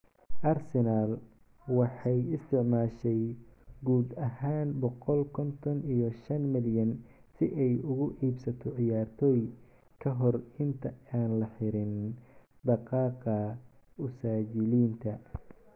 Arsenal waxay isticmaashay guud ahaan boqol konton iyo shan malyan si ay ugu iibsato ciyaartoy ka hor inta aan la xirin daaqadda usajilinta.